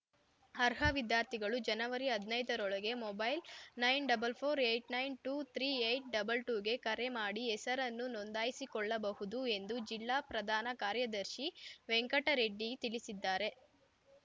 ಅರ್ಹ ವಿದ್ಯಾರ್ಥಿಗಳು ಜನವರಿ ಹದ್ ನೈದರ ರೊಳಗೆ mobile nine double four eight nine two three eight double two ಗೆ ಕರೆ ಮಾಡಿ ಹೆಸರನ್ನು ನೋಂದಾಯಿಸಿಕೊಳ್ಳಬಹುದು ಎಂದು ಜಿಲ್ಲಾ ಪ್ರಧಾನ ಕಾರ್ಯದರ್ಶಿ ವೆಂಕಟರೆಡ್ಡಿ ತಿಳಿಸಿದ್ದಾರೆ